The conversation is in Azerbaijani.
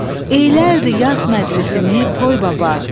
Eylərdi yas məclisini toy baba,